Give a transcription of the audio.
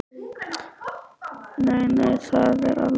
Nei, nei, það er alveg óþarfi.